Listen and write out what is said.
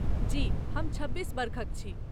जी, हम छब्बीस वर्षक छी।